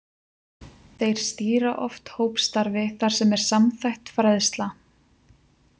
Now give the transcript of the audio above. Þeir stýra oft hópstarfi þar sem er samþætt fræðsla.